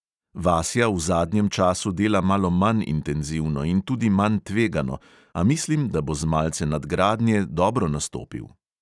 Vasja v zadnjem času dela malo manj intenzivno in tudi manj tvegano, a mislim, da bo z malce nadgradnje dobro nastopil.